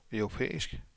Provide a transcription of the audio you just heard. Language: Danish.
europæisk